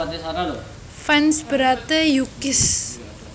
Fans berate U Kiss